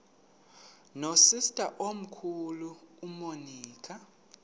nosister omkhulu umonica